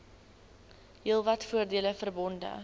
heelwat voordele verbonde